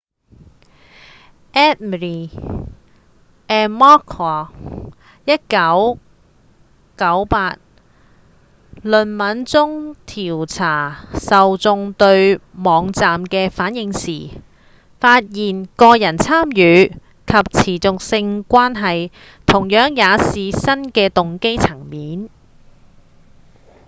eighmey and mccord 1998論文中調查受眾對網站的反應時發現「個人參與」及「持續性關係」同樣也是新的動機層面